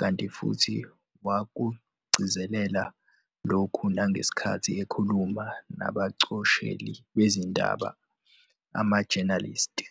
kanti futhi wakugcizelela lokhu nangesikhathi ekhuluma nabacosheli bezindaba amajenalisti.